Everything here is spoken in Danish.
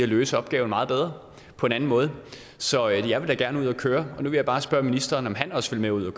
løse opgaven meget bedre på en anden måde så jeg vil da gerne ud at køre og nu vil jeg bare spørge ministeren om han også vil med ud at